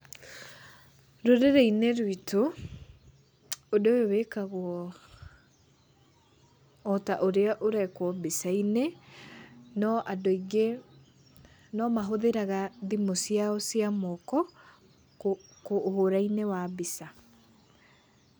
Rũrĩrĩ-inĩ rwitũ ũndũ ũyũ wĩkagwo otaũrĩa ũrĩa ũrekwo mbica-inĩ, no andũ aingĩ nomahũthagĩra thimũ ciao cia moko, ũhũra-inĩ wa mbica.